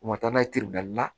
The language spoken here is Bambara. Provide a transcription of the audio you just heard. U ma taa n'a ye la